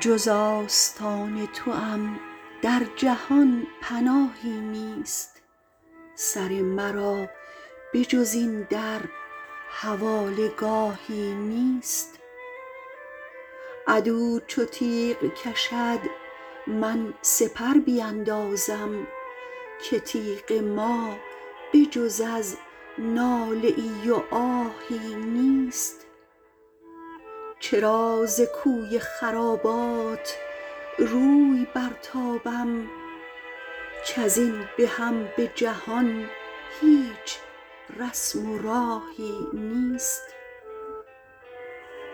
جز آستان توام در جهان پناهی نیست سر مرا به جز این در حواله گاهی نیست عدو چو تیغ کشد من سپر بیندازم که تیغ ما به جز از ناله ای و آهی نیست چرا ز کوی خرابات روی برتابم کز این بهم به جهان هیچ رسم و راهی نیست